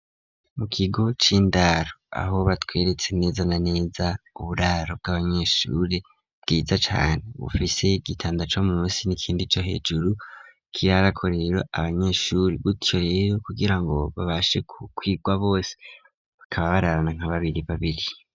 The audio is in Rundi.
Mu kigo c'indaro aho batweretse neza na neza uburaro bw'abanyeshuri bwiza cane bufise igitanda co musi n'ikindi co hejuru kirarako rero abanyeshuri gutyo rero kugira ngo babashe gukwigwa bose bakaba bararana nka babiri babiri.